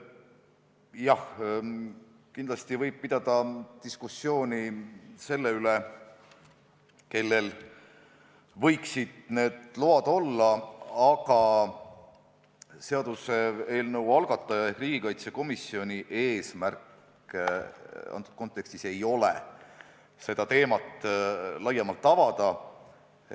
Jah, kindlasti võib pidada diskussiooni selle üle, kellel võiksid need load olla, aga seaduseelnõu algataja ehk riigikaitsekomisjoni eesmärk antud kontekstis ei ole seda teemat laiemalt avada.